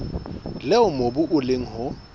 leo mobu o leng ho